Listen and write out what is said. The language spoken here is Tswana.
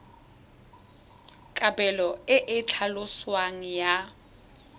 kabelo e e tlhaloswang ya